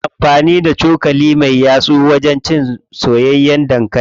Ana amfani da cokali me yatsu wajen cin soyayyen dankali.